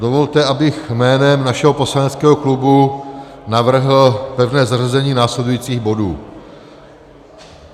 Dovolte, abych jménem našeho poslaneckého klubu navrhl pevné zařazení následujících bodů.